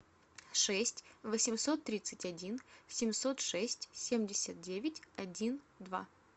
шесть восемьсот тридцать один семьсот шесть семьдесят девять один два